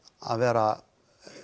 að vera